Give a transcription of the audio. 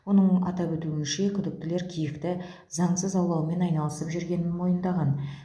оның атап өтуінше күдіктілер киікті заңсыз аулаумен айналысып жүргенін мойындаған